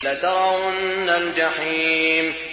لَتَرَوُنَّ الْجَحِيمَ